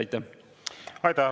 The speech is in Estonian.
Aitäh!